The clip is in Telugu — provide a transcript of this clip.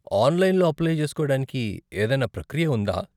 ఆనలైన్లో అప్లై చేసుకోవడానికి ఏదైనా ప్రక్రియ ఉందా?